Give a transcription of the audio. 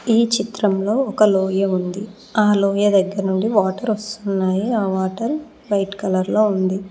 ఈ చిత్రంలో ఒక లోయ ఉంది ఆ లోయ దగ్గర నుండి వాటర్ వస్తున్నాయి ఆ వాటర్ వైట్ కలర్ లో ఉంది.